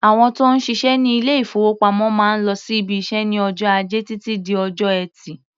Àwọn tó ń ṣiṣẹ́ ní ilé-ìfowópamọ́ máa ń lọ sí ibiṣẹ́ ní ọjọ́ Ajẹ́ títí di ọjọ́ Ẹtì.